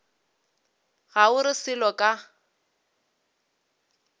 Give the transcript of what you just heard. ga o re selo ka